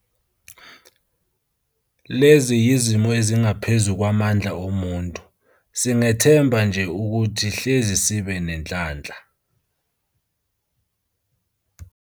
Lezi yizimo ezingaphezulu kwamandla omuntu, singethemba nje ukuthi hleze sibe nenhlanhla.